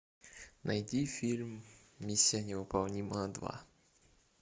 найди фильм миссия невыполнима два